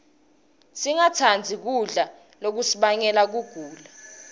singatsandzi kudla lokungasibangela kugula